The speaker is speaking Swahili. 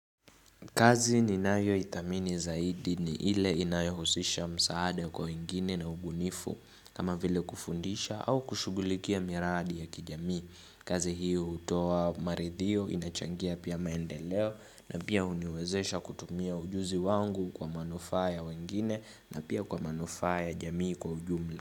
Kazi ninayoithamini zaidi ni ile inayohusisha msaada kwa wengine na ubunifu kama vile kufundisha au kushughulikia miradi ya kijamii. Kazi hiyo hutoa maridhiyo inachangia pia maendeleo na pia huniwezesha kutumia ujuzi wangu kwa manufaa ya wengine na pia kwa manufaa ya jamii kwa ujumla.